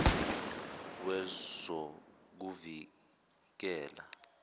wezokuvikela